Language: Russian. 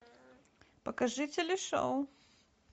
покажи телешоу